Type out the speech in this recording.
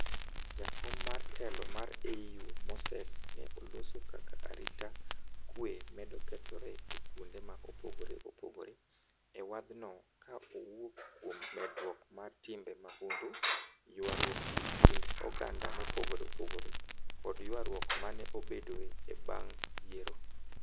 Jakom mar telo mar AU Moses ne oloso kaka arita kwe medo kethore e kwonde ma opogore opogore e wath no ka owuok kuom medruok mar timbe mahundu, ywaruok e kind oganda mopogore opogore kod ywaruok mane obedoe e bang' yiero.